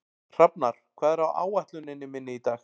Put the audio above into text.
Hrafnar, hvað er á áætluninni minni í dag?